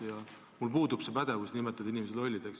Ja mul puudub pädevus nimetada inimesi lollideks.